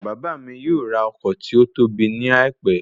Bàbá mi yóò rà ọkọ̀ tí ótóbi ní àìpẹ́